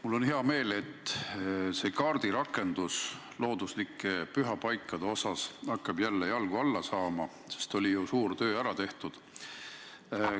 Mul on hea meel, et see looduslike pühapaikade kaardirakendus hakkab jälle jalgu alla saama, sest oli ju suur töö ära tehtud.